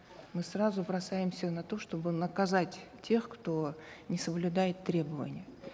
мы сразу бросаемся на то чтобы наказать тех кто не соблюдает требований